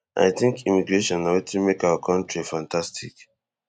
i think immigration na wetin make our kontri fantastic